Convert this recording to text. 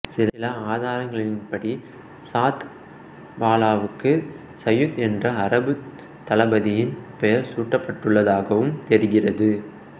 சில ஆதாரங்களின்படி சாத் பாலாவுக்கு சயீத் என்ற அரபு தளபதியின் பெயர் சூட்டப்பட்டுள்ளதகவும் தெரிகிறது